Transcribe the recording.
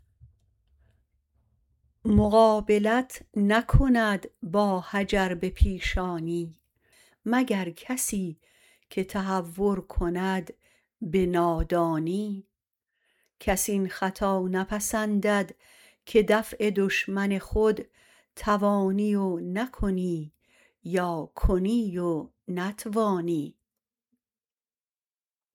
مقابلت نکند با حجر به پیشانی مگر کسی که تهور کند به نادانی کس این خطا نپسندد که دفع دشمن خود توانی و نکنی و یا کنی و نتوانی